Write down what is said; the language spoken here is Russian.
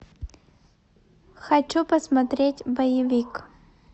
хочу посмотреть боевик